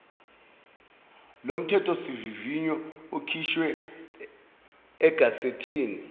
lomthethosivivinyo ukhishwe egazethini